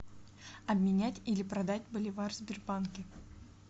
обменять или продать боливар в сбербанке